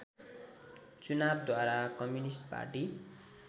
चुनावद्वारा communist party